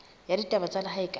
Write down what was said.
ya ditaba tsa lehae kapa